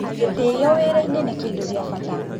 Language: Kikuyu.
Gĩtĩyo wĩra-inĩ nĩ kĩndũ gĩa bata